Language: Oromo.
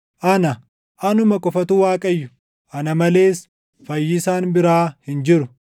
Ana, anuma qofatu Waaqayyo; ana malees fayyisaan biraa hin jiru.